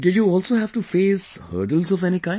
Did you also have to face hurdles of any kind